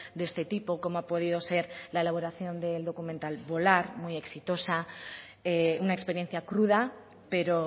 de este tipo como ha podido ser la elaboración del documental volar muy exitosa una experiencia cruda pero